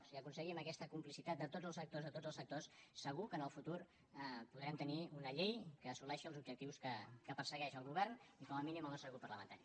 si aconseguim aquesta complicitat de tots els sectors de tots els sectors segur que en el futur podrem tenir una llei que assoleixi els objectius que persegueixen el govern i com a mínim el nostre grup parlamentari